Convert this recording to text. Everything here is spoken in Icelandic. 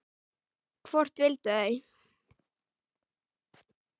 Hvort vildu þau?